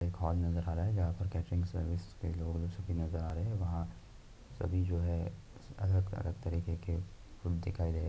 एक होल नजर आरा है जहां पर केट्रिन सर्विस के लोग नजर आ रहे हैं सभी जो है अलग अलग तरह के खाना दिखायी दे रहे हैं।